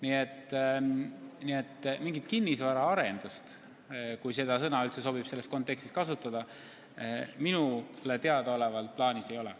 Nii et mingit kinnisvaraarendust, kui seda sõna üldse sobib selles kontekstis kasutada, minu teada plaanis ei ole.